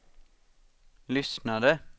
lyssnade